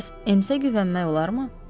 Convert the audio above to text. Bəs Emsə güvənmək olarmı?